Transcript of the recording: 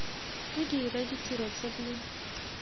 di dire ditiro tse di